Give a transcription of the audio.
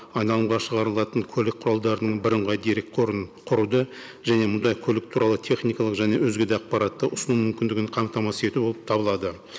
айналымға шығарылатын көлік құралдарының бірыңғай дерек қорын құруды және мұндай көлік туралы техникалық және өзге де ақпаратты ұсыну мүмкіндігін қамтамасыз ету болып табылады